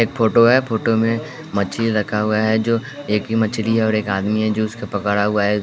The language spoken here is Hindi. एक फोटो है फोटो में मछली रखा हुआ है जो एक ही मछली है और एक आदमी है जो उसको पकड़ा हुआ है।